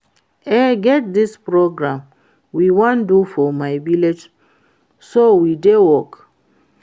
E get dis program we wan do for my village so we dey work